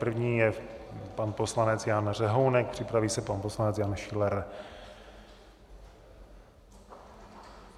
První je pan poslanec Jan Řehounek, připraví se pan poslanec Jan Schiller.